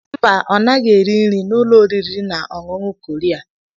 Mba! Ọ naghị eri nri n'ụlọ oriri na ọṅụṅụ Korea.